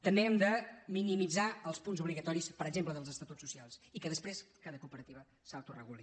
també hem de minimitzar els punts obligatoris per exemple dels estatuts socials i que després cada cooperativa s’autoreguli